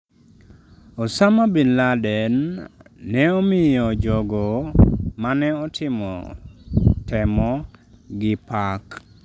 Osama bin Laden ne omiyo jogo mane otimo temo gi pak.